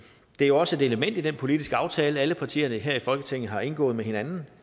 er jo også et element i den politiske aftale alle partierne her i folketinget har indgået med hinanden